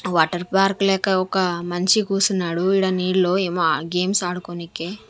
Water park లేక ఒక మన్షి కూసున్నాడు ఈడ నీళ్ళో ఏమో అ గేమ్స్ ఆడుకోనీకి.